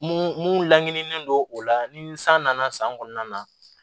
Mun mun laɲinilen don o la ni san nana san kɔnɔna na